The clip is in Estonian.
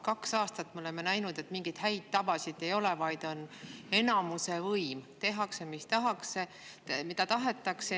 Kaks aastat oleme me näinud seda, et mingeid häid tavasid ei ole, vaid on enamuse võim: tehakse seda, mida tahetakse.